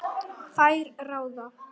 Þær ráða.